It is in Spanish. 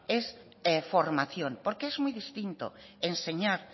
es formación porque es muy distinto enseñar